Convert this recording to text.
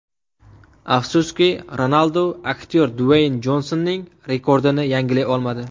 Afsuski, Ronaldu aktyor Dueyn Jonsonning rekordini yangilay olmadi.